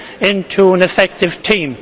into an effective team.